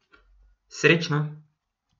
Srečno!